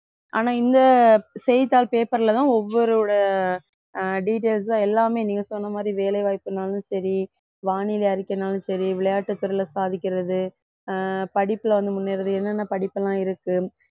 ஆனா இந்த செய்தித்தாள் paper ல தான் ஒவ்வொருவரோட அஹ் details தான் எல்லாமே நீங்க சொன்ன மாதிரி வேலை வாய்ப்புனாலும் சரி வானிலை அறிக்கைனாலும் சரி விளையாட்டுத்துறையில சாதிக்கிறது அஹ் படிப்புல வந்து முன்னேறது என்னென்ன படிப்புலாம் இருக்கு